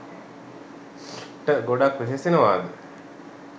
ට ගොඩක් වෙහෙසෙනවාද?